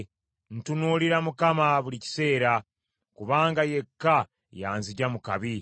Ntunuulira Mukama buli kiseera, kubanga yekka y’anzigya mu kabi.